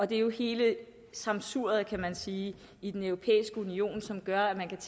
det er jo hele sammensuriet kan man sige i den europæiske union som gør at man kan